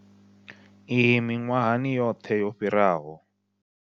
Iyi miṅwahani yoṱhe yo fhiraho.